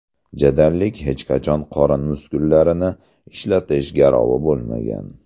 Jadallik hech qachon qorin muskullarini ishlatish garovi bo‘lmagan.